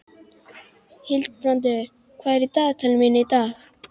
Hildibrandur, hvað er á dagatalinu mínu í dag?